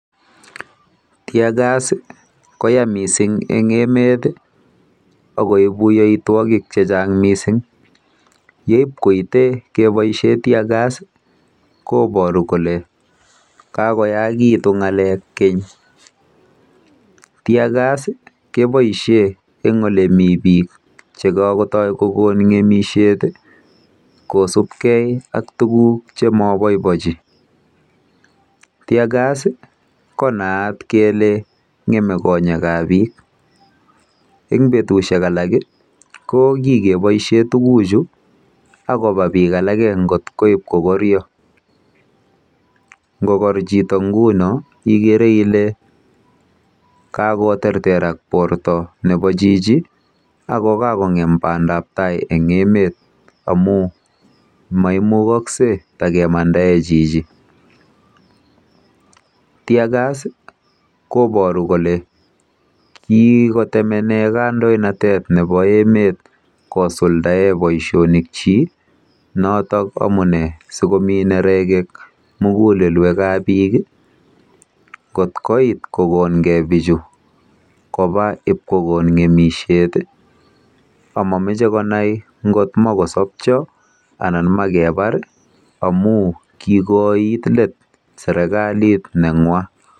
Tear gas ko yaa mising en emet ago ibu yoitwogik Che Chang mising yeib koite keboisie tear gas koiboru kole ka go yaa gitu ngalek keny tear gas keboisien en olemii bik Che kagotoi kogon ngemisiet kosubkei ak tuguk Che moboibochi taer gas ko naat ko ngemei konyek eng betusiek alak ko kiboisien tuguchu ak koba bik alak ko koit ko koryo ngo ngo kor chito nguno igere ile kakoterterak borto nebo chichi ago kagongem bandap tai emet amun maimugoksei kotakemandaen chichi [tear gas koiboru keleckikotemenen sirkalit nebo emet kosuldaen boisinikyik noton amune si komi nerek mugulelwekab Biik ii kot koit ko kogon ge bichu koba Ib kogon ngemisiet ii ak momoche konai ngot much kosopche anan kebar amun kigoit let serkalinywa